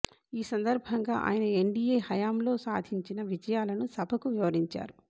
ఈ సందర్భంగా ఆయన ఎన్డీయే హయాంలో సాధించిన విజయాలను సభకు వివరించారు